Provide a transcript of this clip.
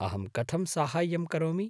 अहं कथं साहाय्यं करोमि?